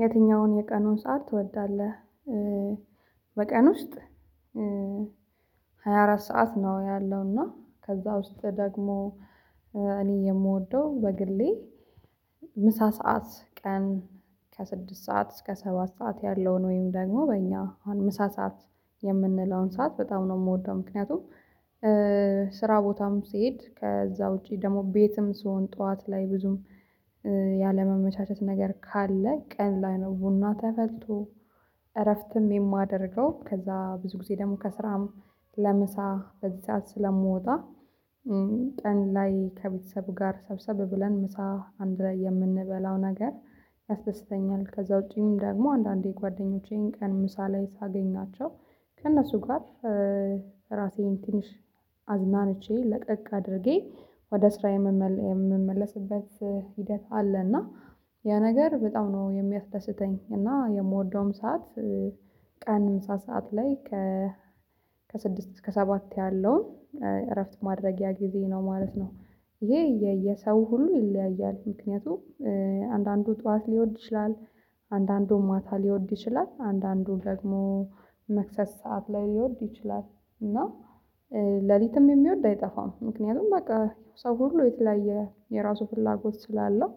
የትኛውን የቀኑን ሰዓት ትወዳለህ? በቀን ውስጥ ሰዓት ነው ያለው እና ከዛ ውስጥ ደግሞ እኔ የምወደው በግሌ ምሳ ሰዓት ቀን ከስድስት ሰዓት እስከ ሰባት ሰዓት ያለውን ወይም ደግሞ በእኛ አሁን ምሳ ሰዓት የምንለውን ሰዓት በጣም ነው የምወደው። ምክንያቱም ስራ ቦታም ስሄድ ከዛ ውጪ ደግሞ ቤትም ስሆን ጠዋት ላይ ብዙም ያለመመቻቸት ነገር ካለ ቀን ላይ ነው ቡና ተፈልቶ እረፍትም የማደርገው ከዛ ብዙ ጊዜ ደግሞ ከስራም ለምሳ በዚህ ሰዓት ስለምወጣ ቀን ላይ ከቤተሰብ ጋር ሰብሰብ ብለን ምሳ አንድ ላይ የምንበላው ነገር ያስደስተኛል። ከዛ ውጪም ደግሞ አንዳንዴ ጓደኞቼን ቀን ምሳ ላይ ሳገኛቸው ከእነሱ ጋር ራሴን ትንሽ አዝናንቼ ለቀቅ አድርጌ ወደ ስራ የምመለስበት ሂደት አለ እና ያ ነገር በጣም ነው የሚያስደስተኝ። እና የምወደውም ሰዓት ቀን ምሳ ሰዓት ላይ ከ ከስድስት እስከ ሰባት ያለውን እረፍት ማድረጊያ ጊዜ ነው ማለት ነው። ይሄ የየሰው ሁሉ ይለያያል። ምክንያቱም አንዳንዱ ጠዋት ሊወድ ይችላል አንዳንዱም ማታ ሊወድ ይችላል። አንዳንዱ ደግሞ መክሰስ ሰዓት ላይ ሊወድ ይችላል እና ሌሊትም የሚወድ አይጠፋም። ምክንያቱም በቃ ሰው ሁሉ የተለያየ የራሱ ፍላጎት ስላለው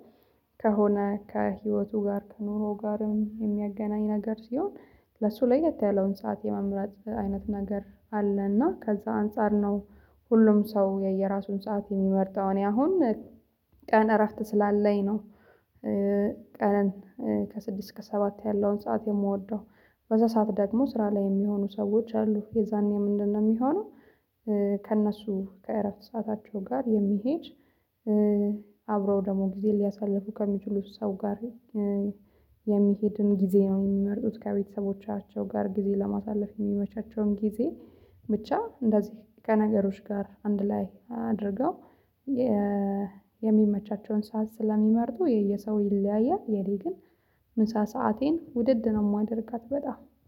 ከሆነ ከህይወቱ ጋር ከኑሮው ጋርም የሚያገናኝ ነገር ሲሆን ለሱ ለየት ያለውን ሰዓት የመምረጥ አይነት ነገር አለና እና ከዛ አንፃር ነው። ሁሉም ሰው የየራሱን ሰዓት የሚመርጠው እኔ። አሁን ቀን እረፍት ስላለኝ ነው። ቀን ከስድስት እስከ ሰባት ያለውን ሰዓት የምወደው በዛ ሰዓት ደግሞ ስራ ላይ የሚሆኑ ሰዎች አሉ የዛኔ ምንድነው የሚሆነው? ከእነሱ ከእረፍት ሰዓታቸው ጋር የሚሄድ አብረው ደግሞ ጊዜ ሊያሳልፉ ከሚችሉት ሰው ጋር የሚሄድን ጊዜ ነው የሚመርጡት። ከቤተሰቦቻቸው ጋር ጊዜ ለማሳለፍ የሚመቻቸውን ጊዜ ብቻ እንደዚህ ከነገሮች ጋር አንድ ላይ አድርገው የሚመቻቸውን ሰዓት ስለሚመርጡ የየሰው ይለያያል። የእኔ ግን ምሳ ሰአቴን ውድድ ነው የማደርጋት በጣም